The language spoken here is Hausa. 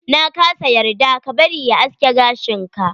Na kasa yarda ka bari ya aske gashin ka.